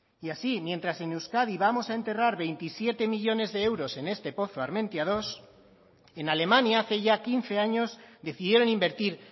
y así mientras en euskadi vamos a enterrar veintisiete millónes de euros en este pozo armentiamenos dos en alemania hace ya quince años decidieron invertir